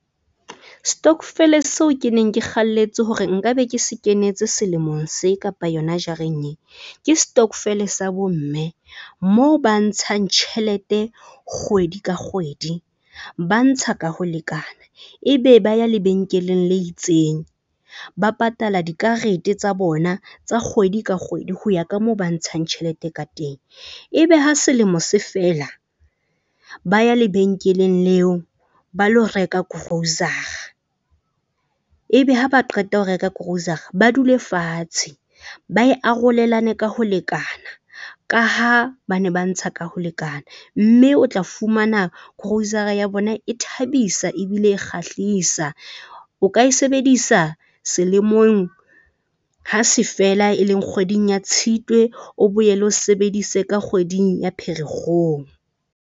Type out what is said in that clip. Stokvel seo ke neng ke kgalletse hore nka be ke se kenetse selemong se kapa yona jareng, e ke stokvel sa bo mme moo ba ntshang tjhelete kgwedi ka kgwedi ba ntsha ka ho lekana ebe ba ya lebenkeleng le itseng, ba patala dikarete tsa bona tsa kgwedi ka kgwedi. Ho ya ka moo ba ntshang tjhelete ka teng. Ebe ha selemo se fela, ba ya lebenkeleng leo ba lo reka grocer-a. Ebe ha ba qeta ho reka grocer-a, ba dule fatshe ba e arolelane ka ho lekana ka ha bane ba ntsha ka ho lekana. Mme o tla fumana grocer-a ya bona e thabisa ebile e kgahlisa. O ka e sebedisa selemong hase fela e leng kgweding ya Tshitwe, o boele o sebedise ka kgweding ya Pherekgong.